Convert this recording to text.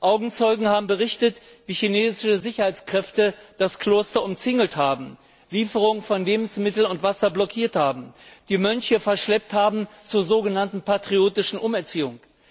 Augenzeugen haben berichtet, wie chinesische Sicherheitskräfte das Kloster umzingelt haben, Lieferungen von Lebensmitteln und Wasser blockiert haben, die Mönche verschleppt haben zur sogenannten patriotischen Umerziehung.